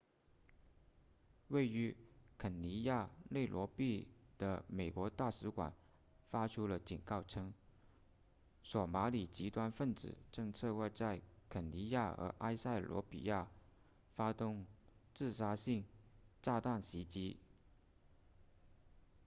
位于肯尼亚内罗毕的美国大使馆发出了警告称索马里极端分子正策划在肯尼亚和埃塞俄比亚发动自杀性炸弹袭击